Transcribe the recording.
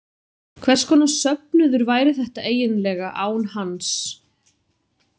Hvers konar söfnuður væri þetta eiginlega án hans?